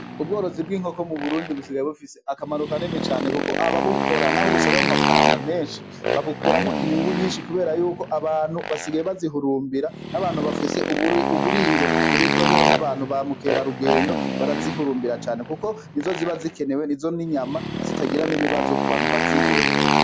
Ubworozi bw'inkoko mu burundi busigaye bufise akamaro kanini cane kuko ababukora n'abo busaba amafaranga meshi babukuramwo inyungu nyishi kubera yuko abantu basigaye bazihurumbira n'abantu bafise uburiro buribwamwo n'abantu ba mukerarugendo bara zihurumbira cane kuko nizo ziba zikenewe nizo n'inyama zitagira n'ibibazo ku bantu bazihereza.